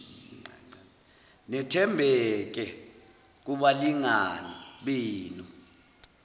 nethembeke kubalingani benu